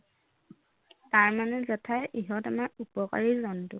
তাৰমানে জেঠাই ইহঁত আমাৰ উপকাৰী জন্তু